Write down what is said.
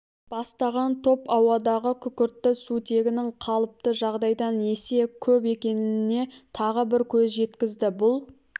бастаған топ ауадағы күкіртті сутегінің қалыпты жағдайдан есе көп екеніне тағы бір көз жеткізді бұл